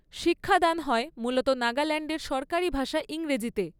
শিক্ষাদান হয় মূলত নাগাল্যাণ্ডের সরকারি ভাষা ইংরেজিতে।